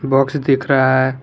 Box दिख रहा है।